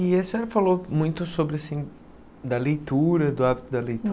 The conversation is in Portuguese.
E a senhora falou muito sobre assim, da leitura, do hábito da